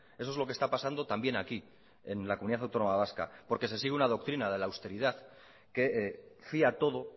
eso es lo que está pasando también aquí en la comunidad autónoma vasca porque se sigue una doctrina de la austeridad que fía todo